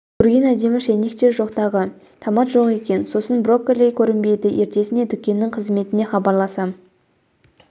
көрген әдемі шәйнек жоқ тағы томат жоқ екен сосын брокколи көрінбейді ертесіне дүкеннің қызметіне хабарласам